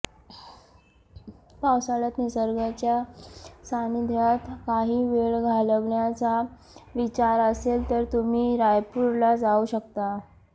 पावसाळ्यात निसर्गाच्या सानिध्यात काही वेळ घालवण्याचा विचार असेल तर तुम्ही रायपूरला जाऊ शकता